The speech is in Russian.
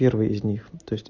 первый из них то есть